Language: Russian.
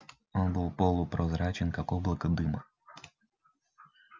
он был полупрозрачен как облако дыма